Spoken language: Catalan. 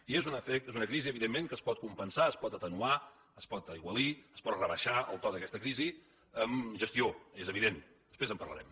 i és una crisi evidentment que es pot compensar es pot atenuar es pot aigualir es pot rebaixar el to d’aquesta crisi amb gestió és evident després en parlarem